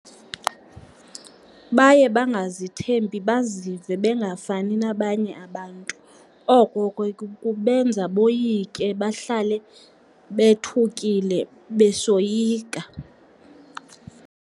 Baye bangazithembi, bazive bengafani nabanye abantu. Oko ke kubenza boyike, bahlale bethukile besoyika.